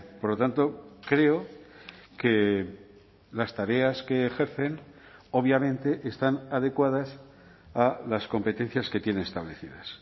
por lo tanto creo que las tareas que ejercen obviamente están adecuadas a las competencias que tiene establecidas